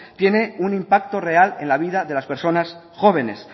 tiene un impacto real en la vida de las personas jóvenes